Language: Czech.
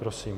Prosím.